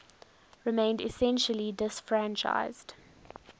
remained essentially disfranchised